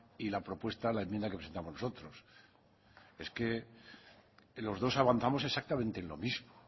y la propuesta a la enmienda que presentamos nosotros es que los dos avanzamos exactamente lo mismo